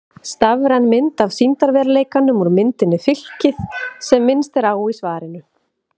Stafræn mynd af sýndarveruleikanum úr myndinni Fylkið sem minnst er á í svarinu.